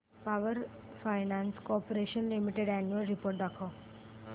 power finance corporation limited annual report दाखव